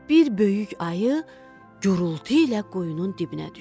Bir böyük ayı gurultu ilə quyunun dibinə düşdü.